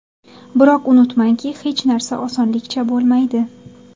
Biroq unutmangki, hech narsa osonlikcha bo‘lmaydi.